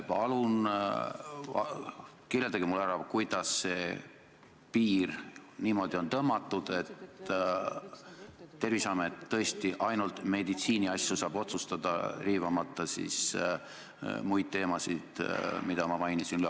Palun kirjeldage mulle, kuidas on see piir tõmmatud, et Terviseamet saaks otsustada tõesti ainult meditsiiniasjade üle, riivamata ülearu muid teemasid, mida ma mainisin.